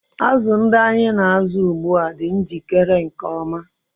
Azụ ndị anyị na-azụ ugbu a dị njikere nke ọma.